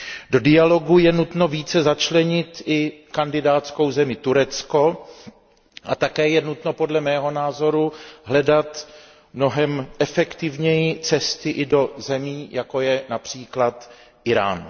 Do dialogu je nutno více začlenit i kandidátskou zemi Turecko a také je nutno, podle mého názoru, hledat mnohem efektivněji cesty i do zemí, jako je například Irán.